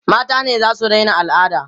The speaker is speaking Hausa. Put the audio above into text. mata ne zasu Daina alada